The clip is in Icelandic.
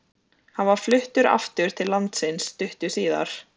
Hann var fluttur aftur til landsins stuttu síðar.